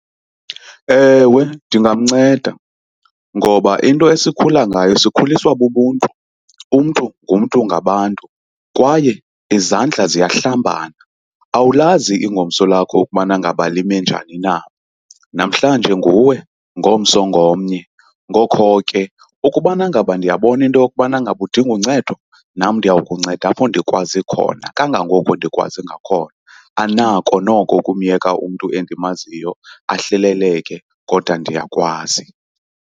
Ewe, ndingamnceda ngoba into esikhula nayo sikhuliswa bubuntu. Umntu ngumntu ngabantu kwaye izandla ziyahlambana. Awulazi ingomso lakho ukubana ngaba lime njani na, namhlanje nguwe ngomso ngomnye. Ngokho ke ukubana ngaba ndiyabona into yokubana ngaba udinga uncedo nam ndiya kunceda apho ndikwazi khona kangangoko ndikwazi ngakhona. Andinako noko ukumyeka umntu endimaziyo ahleleleke kodwa ndiyakwazi.